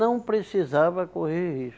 Não precisava correr